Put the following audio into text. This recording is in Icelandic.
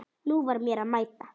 Nú var mér að mæta!